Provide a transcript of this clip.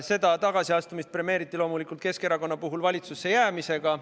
Seda tagasiastumist premeeriti loomulikult Keskerakonna valitsusse jäämisega.